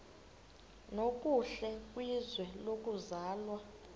nokuhle kwizwe lokuzalwa